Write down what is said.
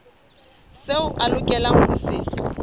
seo a lokelang ho se